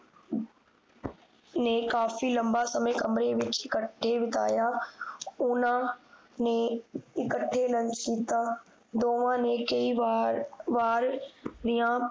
ਨੇ ਕਾਫੀ ਲੰਬਾ ਸਮਾਂ ਕਮਰੇ ਵਿਚ ਇਕੱਠੇ ਬਿਤਾਇਆ ਓਹਨਾ ਨੇ ਇਕੱਠੇ Lunch ਕੀਤਾ ਦੋਨਾਂ ਨੇ ਕਈ ਵਾਰ ਵਾਰ ਦੀਆ